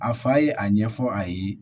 A fa ye a ɲɛfɔ a ye